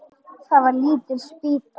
Það var lítil spýta.